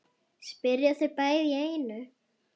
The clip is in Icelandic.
spyrja þau bæði í einu.